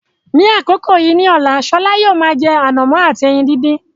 Ní àkókò yìí ní ọ̀la, Shola yóò máa jẹ ànàmọ́ àti ẹyin dídì.